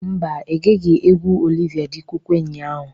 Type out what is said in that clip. Mba, egeghi egwu Oliva dị Kokwe ụnyaahụ.